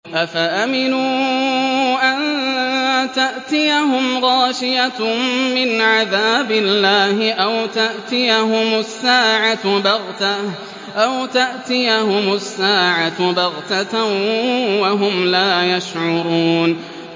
أَفَأَمِنُوا أَن تَأْتِيَهُمْ غَاشِيَةٌ مِّنْ عَذَابِ اللَّهِ أَوْ تَأْتِيَهُمُ السَّاعَةُ بَغْتَةً وَهُمْ لَا يَشْعُرُونَ